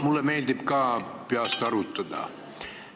Mulle meeldib ka peast arvutada.